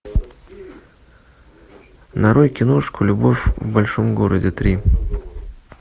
нарой киношку любовь в большом городе три